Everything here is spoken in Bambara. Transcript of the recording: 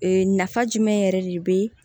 Ee nafa jumɛn yɛrɛ de bɛ